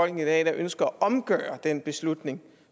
i dag der ønsker at omgøre den beslutning